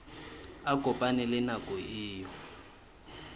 a kopane le nako eo